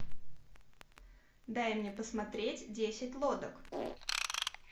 дай мне посмотреть десять лодок